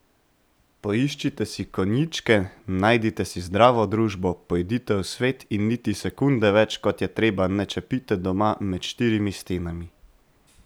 Poiščite si konjičke, najdite si zdravo družbo, pojdite v svet in niti sekunde več, kot je treba, ne čepite doma, med štirimi stenami!